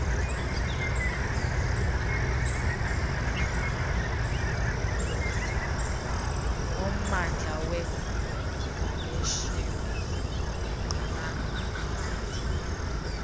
ngommandla wegaleshewe nekgalagadi